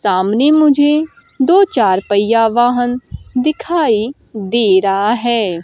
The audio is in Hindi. सामने मुझे दो चार पहिया वाहन दिखाई दे रहा है।